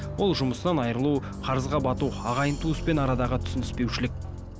ол жұмыстан айрылу қарызға бату ағайын туыспен арадағы түсініспеушілік